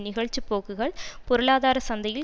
நிகழ்ச்சிப்போக்குகள் பொருளாதார சந்தையில்